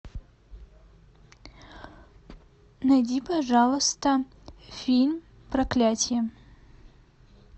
найди пожалуйста фильм проклятие